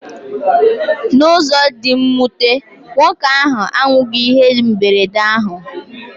N'ụzọ dị mwute, nwoke ahụ anwụghị ihe mberede ahụ.